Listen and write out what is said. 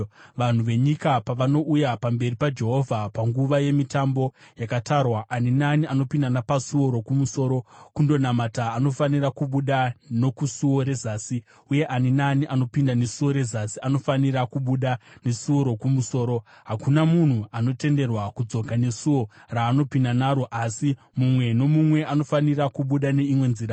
“ ‘Vanhu venyika pavanouya pamberi paJehovha panguva yemitambo yakatarwa, ani naani anopinda napasuo rokumusoro kundonamata anofanira kubuda nokusuo rezasi; uye ani naani anopinda nesuo rezasi anofanira kubuda nesuo rokumusoro. Hakuna munhu anotenderwa kudzoka nesuo raambopinda naro, asi mumwe nomumwe anofanira kubuda neimwe nzira.